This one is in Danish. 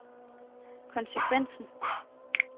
konsekvensen